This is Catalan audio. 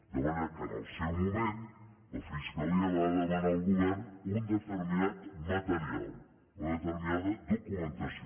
de manera que en el seu moment la fiscalia va demanar al govern un determinat material una determinada documentació